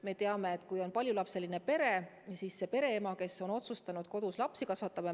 Me teame, et kui on paljulapseline pere, siis osa pereemasid otsustab kodus lapsi kasvatada.